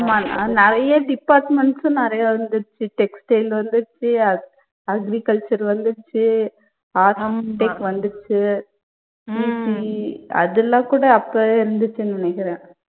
ஆமா நிறைய departments உம் நிறைய வந்துடுச்சு, textile வந்துடுச்சு, age agriculture வந்துடுச்சு, வந்துடுச்சு, ECE அதெல்லாம் கூட அப்பவே இருந்துச்சுன்னு நினைக்கிறேன்.